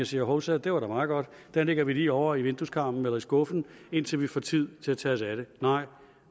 siger hovsa det var da meget godt den lægger vi lige over i vindueskarmen eller ned i skuffen indtil vi får tid til at tage os af den nej